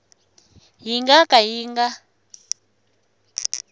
yi nga ka yi nga